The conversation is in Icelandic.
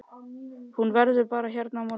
Og hún verður bara hérna á morgnana.